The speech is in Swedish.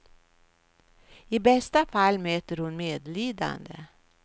I bästa fall möter hon medlidande.